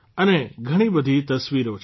અને ઘણા બધી તસ્વીરો છે